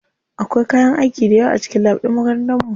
Akwai kayan aiki dayawa a cikin lab ɗin makarantar mu.